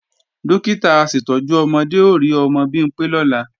Dókítà aṣètọ́jú ọmọdé ó rí ọmọ Bimpé lọ́la